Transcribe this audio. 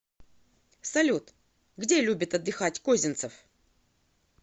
салют где любит отдыхать козинцев